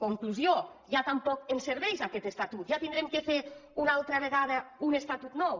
conclusió ja tampoc ens serveix aquest estatut ja haurem de fer una altra vegada un estatut nou